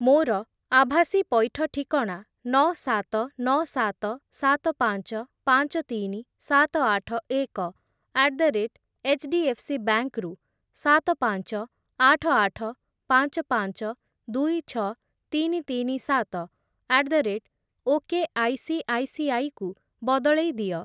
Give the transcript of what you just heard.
ମୋର ଆଭାସୀ ପଇଠ ଠିକଣା ନଅ, ସାତ, ନଅ, ସାତ, ସାତ, ପାଞ୍ଚ, ପାଞ୍ଚ, ତିନି, ସାତ, ଆଠ, ଏକ ଆଟ୍ ଦ ରେଟ୍ ଏଚ୍‌ଡି‌‌ଏଫ୍‌ସିବାଙ୍କ୍ ରୁ ସାତ, ପାଞ୍ଚ, ଆଠ, ଆଠ, ପାଞ୍ଚ, ପାଞ୍ଚ, ଦୁଇ, ଛଅ, ତିନି, ତିନି, ସାତ ଆଟ୍ ଦ ରେଟ୍ ଓକେଆଇସିଆଇସିଆଇ କୁ ବଦଳେଇ ଦିଅ।